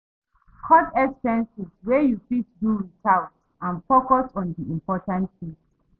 Cut expenses wey you fit do without and focus on di important things